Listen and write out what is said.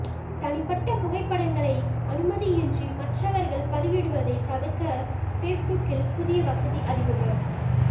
தனிப்பட்ட புகைப்படங்களை அனுமதியின்றி மற்றவர்கள் பதிவிடுவதை தவிர்க்க பேஸ்புக்கில் புதிய வசதி அறிமுகம்